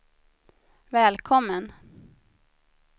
välkommen